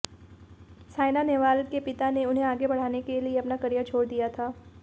साइना नेहवाल के पिता ने उन्हें आगे बढ़ाने के लिये अपना करियर छोड़ दिया था